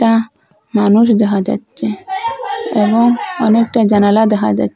একটা মানুষ দেখা যাচ্ছে এবং অনেকটা জানালা দেখা যা--